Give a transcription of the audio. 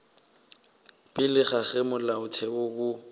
pele ga ge molaotheo wo